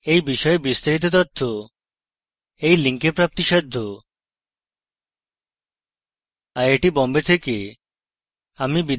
I I T Bombay থেকে amal বিদায় নিচ্ছি